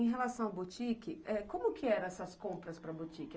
Em relação ao boutique, como que eram essas compras para o boutique?